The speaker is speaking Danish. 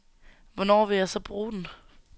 Hvornår vil jeg så bruge den.